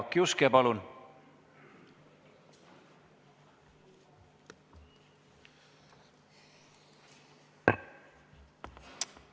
Jaak Juske, palun!